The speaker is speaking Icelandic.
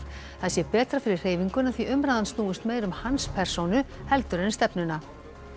það sé betra fyrir hreyfinguna því umræðan snúist meira um hans persónu heldur en stefnuna